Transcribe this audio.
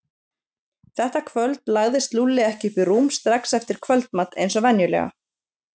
Þetta kvöld lagðist Lúlli ekki upp í rúm strax eftir kvöldmat eins og venjulega.